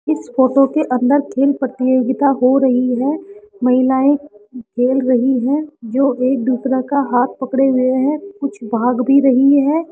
इस फोटो के अंदर तीन प्रतियोगिता हो रही है महिलाएं खेल रही हैं जो एक दूसरे का हाथ पकड़े हुए हैं कुछ भाग भी रही हैं।